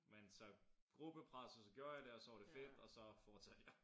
Men så gruppepres og så gjorde jeg det og så var det fedt og så fortsatte jeg